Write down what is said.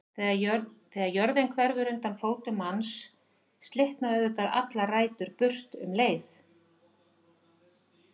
Þegar jörðin hverfur undan fótum manns slitna auðvitað allar rætur burt um leið.